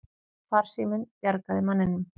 Farsíminn bjargaði manninum